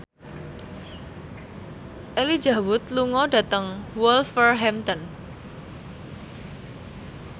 Elijah Wood lunga dhateng Wolverhampton